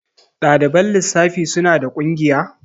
Ɗaliban lissafi suna da ƙungiya?